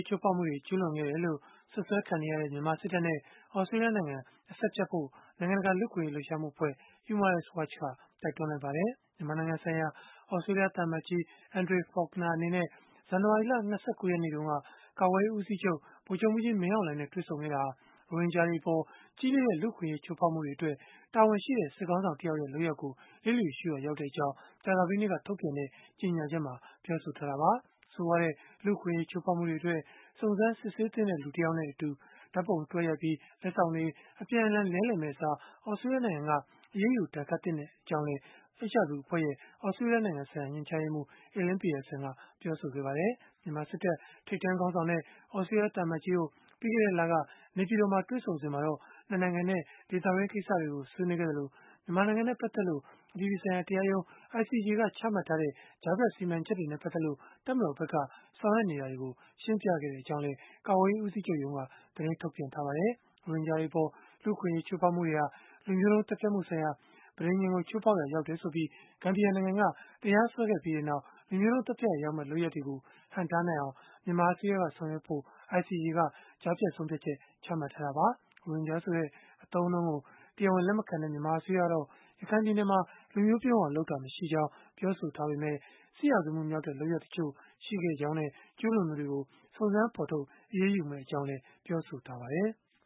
ချိုးဖောက်မှုတွေ ကျုးလွန်ခဲ့တယ်လို့ စွပ်စွဲခံနေရတဲ့ မြန်မာစစ်တပ်နဲ့ သြစတြေးလျနိုင်ငံက အဆက်ဖြတ်ဖို့ နိုင်ငံတကာ လူ့အခွင့်အရေး လှုပ်ရှားမှုအဖွဲ့ (Human Rights Watch) က တိုက်တွန်းလိုက်ပါတယ်။ မြန်မာနိုင်ငံဆိုင်ရာ သြစတြေးလျ သံအမတ်ကြီး Andrea Faulkner အနေနဲ့ ဇန်နဝါရီလ ၂၉ ရက်နေ့တုန်းက ကာကွယ်ရေးဦးစီးချုပ် ဗိုလ်ချုပ်မှူးကြီး မင်းအောင်လှိုင်နဲ့ တွေ့ဆုံခဲ့တာဟာ ရိုဟင်ဂျာတွေအပေါ် ကြီးလေးတဲ့ လူ့အခွင့်အရေး ချိုးဖောက်မှုတွေအတွက် တာဝန်ရှိတဲ့ စစ်ခေါင်းဆောင်တယောက်ရဲ့ လုပ်ရပ်ကို လျစ်လျူရှုရာရောက်ကြောင်း ကြာသပတေးနေ့က ထုတ်ပြန်တဲ့ ကြေညာချက်မှာ ပြောဆိုထားတာပါ။ ဆိုးရွားတဲ့ လူ့အခွင့်အရေး ချိုးဖောက်မှုတွေအတွက် စုံစမ်းစစ်ဆေးသင့်တဲ့သူ တယောက်နဲ့ ဓာတ်ပုံအတူတွဲရိုက်ပြီး လက်ဆောင်တွေ အပြန်အလှန် လဲလှယ်မယ့်အစား သြစတြေးလျနိုင်ငံက အရေးယူဒဏ်ခတ်သင့်ကြောင်းလည်း HRW အဖွဲ့ရဲ့ သြစတြေးလျနိုင်ငံဆိုင်ရာ ညွှန်ကြားရေးမှူး Elaine Pearson က ပြောပါတယ်။ မြန်မာစစ်တပ် ထိပ်တန်းခေါင်းဆောင်နဲ့ သြစတြေးလျ သံအမတ်ကြီးတို့ ပြီးခဲ့တဲ့လက နေပြည်တော်မှာ တွေ့ဆုံစဉ်မှာတော့ ၂ နိုင်ငံနဲ့ ဒေသတွင်း ကိစ္စတွေကို ဆွေးနွေးခဲ့သလို၊ မြန်မာနိုင်ငံနဲ့ ပတ်သက်လို့ အပြည်ပြည်ဆိုင်ရာ တရားရုံး (ICJ) က ချမှတ်ထားတဲ့ ကြားဖြတ်စီမံချက်တွေနဲ့ ပတ်သက်လို့ တပ်မတော်ဘက်က ဆောင်ရွက်နေတာတွေကို ရှင်းပြခဲ့ကြောင်းလည်း ကာကွယ်ရေးဦးစီးချုပ်ရုံးက သတင်းထုတ်ပြန်ထားပါတယ်။ ရိုဟင်ဂျာတွေအပေါ် လူ့အခွင့်အရေး ချိုးဖောက်မှုတွေဟာ လူမျိုးတုံးသတ်ဖြတ်မှုဆိုင်ရာ ပဋိဉာဉ်ကို ချိုးဖောက်ရာ ရောက်တယ်ဆိုပြီး ဂမ်ဘီယာနိုင်ငံက တရားစွဲခဲ့ပြီးနောက် လူမျိုးတုံးသတ်ဖြတ်ရာရောက်မယ့် လုပ်ရပ်တွေကို ဟန့်တားနိုင်အောင် မြန်မာအစိုးရက ဆောင်ရွက်ဖို့ ICJ က ကြားဖြတ်ဆုံးဖြတ်ချက် ချမှတ်ထားတာပါ။ ရိုဟင်ဂျာဆိုတဲ့ အသုံးအနှုန်းကို တရားဝင် လက်မခံတဲ့ မြန်မာအစိုးရကတော့ ရခိုင်ပြည်နယ်မှာ လူမျိုးပြုန်းအောင် လုပ်ခဲ့တာမျိုး မရှိခဲ့ကြောင်း ပြောဆိုထားပေမဲ့ စစ်ရာဇဝတ်မှုမြောက်တဲ့ လုပ်ရပ်တချို့ရှိခဲ့ကြောင်းနဲ့ ကျုးလွန်သူတွေကို စုံစမ်းဖော်ထုတ် အရေးယူမှာဖြစ်ကြောင်းလည်း ပြောဆိုထားပါတယ်။